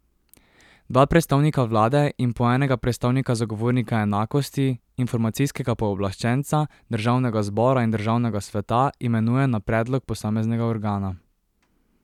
Dva predstavnika vlade in po enega predstavnika zagovornika enakosti, informacijskega pooblaščenca, državnega zbora in državnega sveta imenuje na predlog posameznega organa.